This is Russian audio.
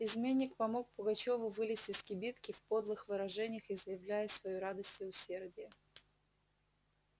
изменник помог пугачёву вылезть из кибитки в подлых выражениях изъявляя свою радость и усердие